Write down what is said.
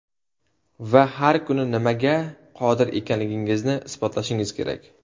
Va har kuni nimaga qodir ekanligingizni isbotlashingiz kerak.